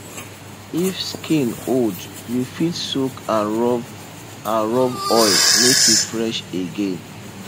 if skin old you fit soak and rub and rub oil make e fresh again